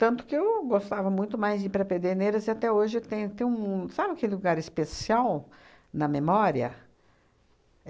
Tanto que eu gostava muito mais de ir para Pederneiras e até hoje eu tenho um... Sabe aquele lugar especial na memória?